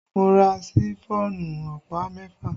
Mo ra Ṣifọ́ọ̀nù ọ̀pá mẹ́fà